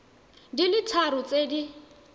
di le tharo tse di